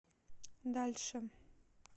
дальше